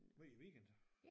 Hver weekend